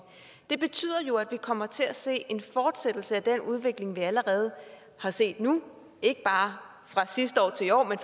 det betyder jo at vi kommer til at se en fortsættelse af den udvikling vi allerede har set nu ikke bare fra sidste år til i år men